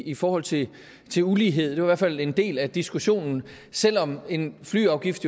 i forhold til til ulighed det var fald en del af diskussionen selv om en flyafgift